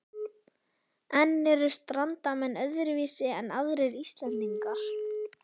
En eru Strandamenn öðruvísi en aðrir Íslendingar?